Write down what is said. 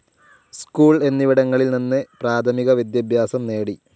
School എന്നിവിടങ്ങളിൽ നിന്ന് പ്രാഥമിക വിദ്യാഭ്യാസം നേടി.